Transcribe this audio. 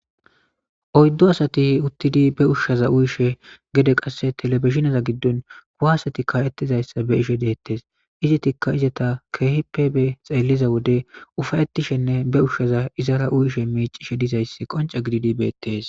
oyddo asati uttidi be ushshaza uyishe gede qasse telebishineza giddon kuwaseti ka'ettizayssa be'ishe deettes izetikka izeta keehippe be xeelliza wode ufayettishenne be ushshaza izara uyishe miicishe dizayssi qonce gididi beettes